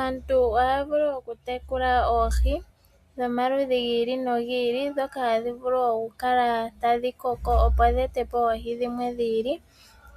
Aantu ohaa vulu okutekula oohi dhomaludhi gili nogili, ndhoka tadhi vulu okukala tadhi koko opo dhi ete po oohi dhimwe dhi ili